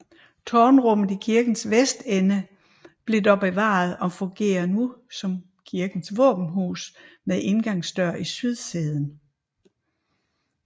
Tårnrummet i kirkens vestende blev dog bevaret og fungerer nu som kirkens våbenhus med indgangsdør i sydsiden